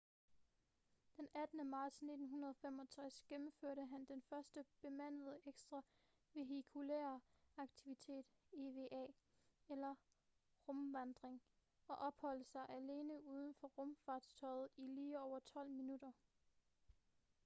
den 18. marts 1965 gennemførte han den første bemandede ekstra-vehikulære aktivitet eva eller rumvandring og opholdt sig alene uden for rumfartøjet i lige over tolv minutter